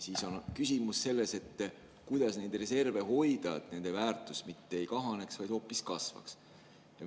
Siis on küsimus selles, kuidas neid reserve hoida, et nende väärtus mitte ei kahaneks, vaid hoopis kasvaks.